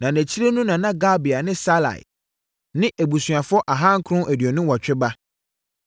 na nʼakyiri no na Gabai ne Salai, ne abusuafoɔ ahankron aduonu nwɔtwe (928) ba.